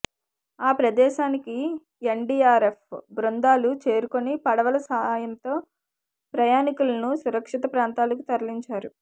ఆ ప్రదేశానికి ఎన్డీఆర్ఎఫ్ బృందాలు చేరుకొని పడవల సాయంతో ప్రయానికులను సురక్షిత ప్రాంతాలకు తరలించారు